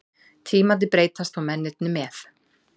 Tímarnir breytast og mennirnir með.